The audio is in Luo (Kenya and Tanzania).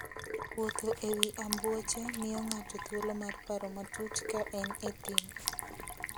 Wuotho e wi ambuoche miyo ng'ato thuolo mar paro matut ka en e thim.